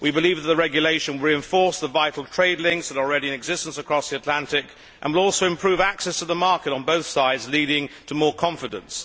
We believe that the regulation reinforces the vital trade links that are already in existence across the Atlantic and will also improve access to the market on both sides, leading to more confidence.